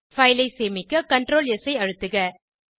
file ஐ சேமிக்க ctrl S ஐ அழுத்துக